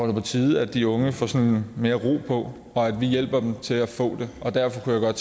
er på tide at de unge får sådan mere ro på og at vi hjælper dem til at få det derfor kunne jeg